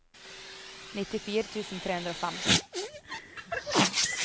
nittifire tusen tre hundre og fem